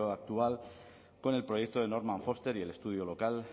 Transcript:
actual con el proyecto de norman foster y el estudio local